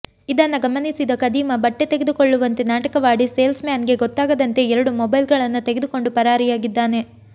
ಇದನ್ನ ಗಮನಿಸಿದ ಖದೀಮ ಬಟ್ಟೆ ತೆಗೆದುಕೊಳ್ಳುವಂತೆ ನಾಟಕವಾಡಿ ಸೇಲ್ಸ್ ಮ್ಯಾನ್ ಗೆ ಗೊತ್ತಾಗದಂತೆ ಎರಡು ಮೊಬೈಲ್ ಗಳನ್ನ ತೆಗೆದುಕೊಂಡು ಪರಾರಿಯಾಗಿದ್ದಾನೆ